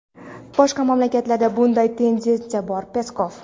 boshqa mamlakatlarda bunday tendentsiya bor – Peskov.